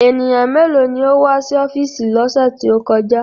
Ènìyàn méèló ni ó wá sí ọ́fíìsì lọ́sẹ̀ tí ó kọjá?